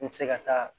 N tɛ se ka taa